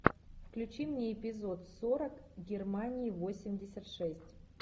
включи мне эпизод сорок германии восемьдесят шесть